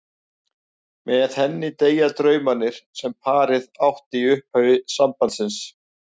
Með henni deyja draumarnir sem parið átti í upphafi sambands síns.